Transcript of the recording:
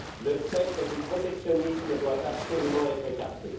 Le spectre du protectionnisme doit absolument être écarté.